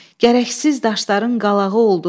Gərəksiz daşların qalağı oldu.